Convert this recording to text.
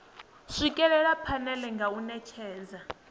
swikelela phanele nga u netshedza